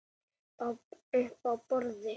Uppi á borði?